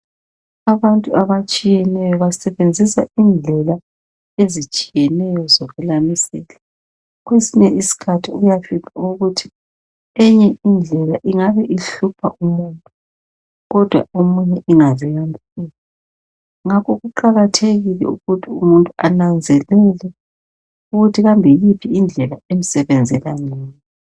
Abantu abatshiyeneyo basebenzisa indlela ezitshiyeneyo zokwelamisela. Kwesinye isikhathi uyafica ukuthi eyinye indlela ingabe ihlupha umuntu kodwa omunye ingaze yamhlupha. Ngakho kuqakathekile ukuthi umuntu ananzelele ukuthi kambe yiphi indlela emsebenzela ngcono.